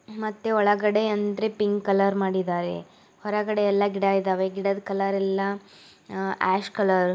ಮತ್ತೆ ಒಳಗಡೆ ಅಂದ್ರೆ ಪಿಂಕ್ ಕಲರ್ ಮಾಡಿದ್ದಾರೆ ಹೊರಗಡೆ ಎಲ್ಲ ಗಿಡ ಇದಾವೆ ಗಿಡದ ಕಲರ್ ಎಲ್ಲ ಆ ಆಶ್ ಕಲರ್ --